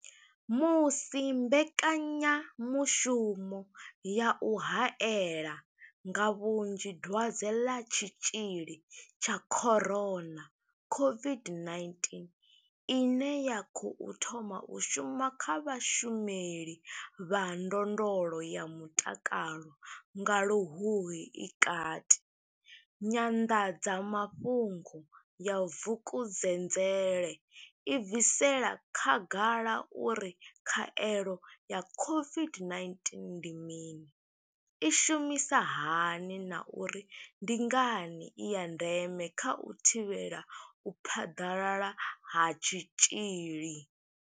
Musi mbekanya mushumo ya u haela nga vhunzhi Dwadze ḽa Tshitzhili tsha corona COVID-19 ine ya khou thoma u shuma kha vhashumeli vha ndondolo ya mutakalo nga Luhuhi i kati, Nyanḓadza mafhungo ya Vukuzenzele i bvisela khagala uri khaelo ya COVID-19 ndi mini, i shumisa hani na uri ndi ngani i ya ndeme kha u thivhela u phaḓalala ha tshitzhili.